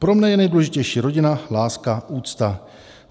Pro mne je nejdůležitější rodina, láska, úcta.